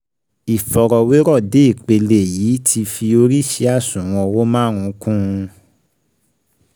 Ìfọrọwérọ̀ dé ipele yìí ti fi oríṣii àṣùwọ̀n owó márùn-ún kùn - un